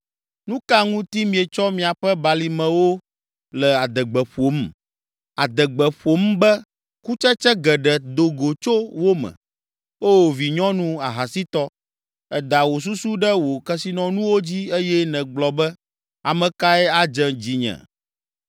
Nu ka ŋuti mietsɔ miaƒe balimewo le adegbe ƒom, adegbe ƒom be kutsetse geɖe do go tso wo me? O vinyɔnu ahasitɔ, èda wò susu ɖe wò kesinɔnuwo dzi eye nègblɔ be, ‘Ame kae adze dzinye?’